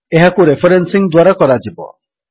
ଏହାକୁ ରେଫରେନ୍ସିଙ୍ଗ୍ ଦ୍ୱାରା କରାଯିବ